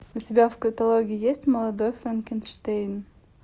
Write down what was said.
у тебя в каталоге есть молодой франкенштейн